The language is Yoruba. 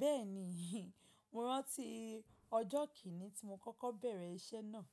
Bẹ́ẹ̀ni. Mo rántí ọjọ́ kìnní tí mo kọ́kọ́ bẹ̀rẹ̀ iṣẹ́ náà.